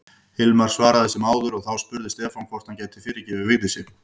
Hilmar svaraði sem áður og þá spurði Stefán hvort hann gæti fyrirgefið Vigdísi.